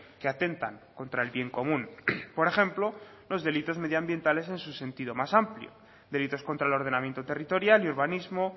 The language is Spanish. que atentan contra el bien común por ejemplo los delitos medioambientales en su sentido más amplio delitos contra el ordenamiento territorial y urbanismo